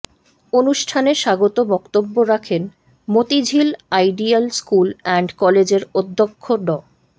অনুষ্ঠানে স্বাগত বক্তব্য রাখেন মতিঝিল আইডিয়াল স্কুল অ্যান্ড কলেজের অধ্যক্ষ ড